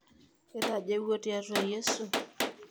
Itajeuwuo tiatua yiesu?